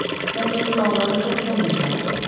Məncə o suallara çox səmimi cavab verdi.